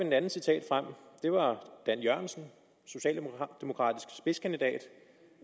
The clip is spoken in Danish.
et andet citat frem det var dan jørgensen socialdemokratisk spidskandidat